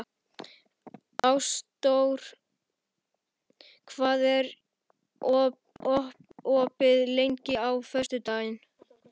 Ásdór, hvað er opið lengi á föstudaginn?